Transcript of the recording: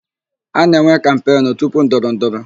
A na-enwe kampenụ tupu ndọrọ ndọrọ.